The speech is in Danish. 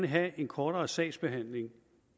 have en kortere sagsbehandlingstid